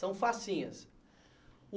São facinhas.